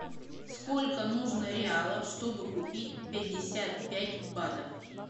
сколько нужно реалов чтобы купить пятьдесят пять батов